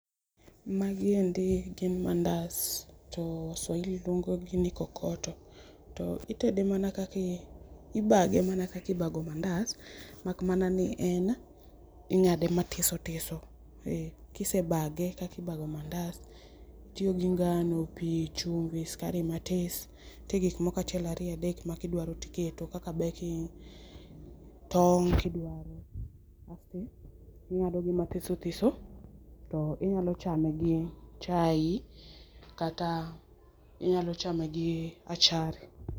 Ma gi endi gin mandas, to swahili luongo gi ni kokoto. to itede mana kaki ibage mana kaka ibago mandas mak mana ni en ing'ade matisotiso ki isebage kaka ibago mandas itiyo gi ngano, pi ,chumbi ,skari matis. Nitie gik moko achiel ariyo adek ma ki idwaro ti iketo kaka baking tong' ki idwaro, asto ing'ado gi matisotiso to inyalo chame gi chayi kata inyalo chame gi achari.